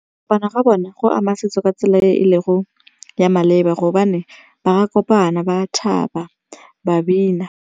Kopana ga bona go ama setso ka tsela e e lego ya maleba gobane ba kopana ba thaba ba bina.